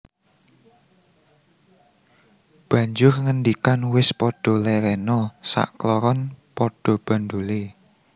Banjur ngendikan Wis padha lèrèna sak kloron padha bandholé